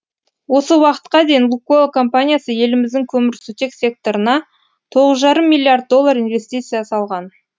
осы уақытқа дейін лукойл компаниясы еліміздің көмірсутек секторына тоғыз жарым миллиард доллар инвестиция салған